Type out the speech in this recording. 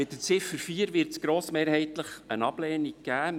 Zur Ziffer 4 wird es grossmehrheitlich eine Ablehnung geben.